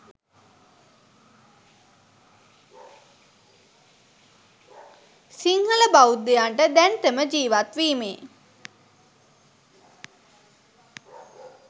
සිංහල බෞධයන්ට දැන්තම ජීවත්වීමේ